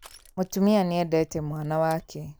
Mũtumia nĩendete mwana wake